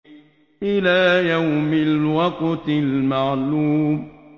إِلَىٰ يَوْمِ الْوَقْتِ الْمَعْلُومِ